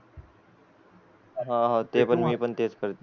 हा हा ते पण मी पण तेच करते